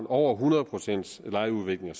over hundrede procent lejeudvikling